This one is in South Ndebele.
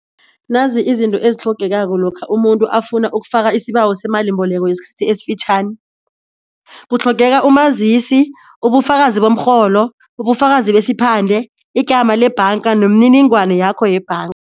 Nanzi izinto ezitlhogekako lokha umuntu afuna ukufaka isibawo semalimboleko yesikhathi esifitjhani, kutlhogeka umazisi, ubufakazi bomrholo, ubufakazi besiphande, igama lebhanga nemininingwana yakho yebhanga.